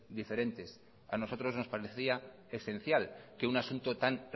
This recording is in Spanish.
diferentes a nosotros nos parecía esencial que un asunto tan